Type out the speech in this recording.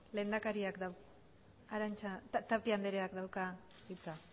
tapia andreak dauka hitza